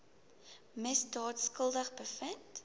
misdaad skuldig bevind